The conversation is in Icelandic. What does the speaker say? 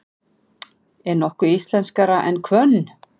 Er nokkuð íslenskara en hvönn?